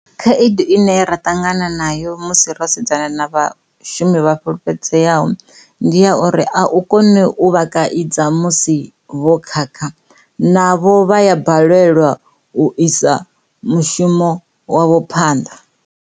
Khaedu ine ra ṱangana nayo musi ro sedzana na vhashumi vha fukufhedzeaho ndi ya uri a u koni u vha kaidza musi vho khakha navho vha ya balelwa u isa mushumo wavho phanḓa.